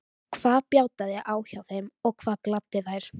Hvað bjátaði á hjá þeim og hvað gladdi þær?